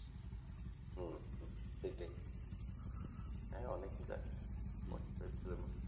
হম হম সেটাই হ্যাঁ অনেকই কাছে forty-five kilometre